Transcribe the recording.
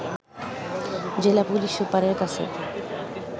জেলা পুলিশ সুপারের কাছে